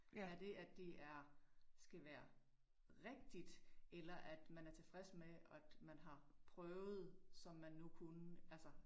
Er det at det er skal være rigtigt eller at man er tilfreds med, at man har prøvet, som man nu kunne altså?